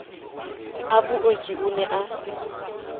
a booki o ne a